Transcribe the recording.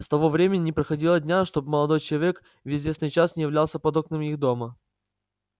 с того времени не проходило дня чтоб молодой человек в известный час не являлся под окнами их дома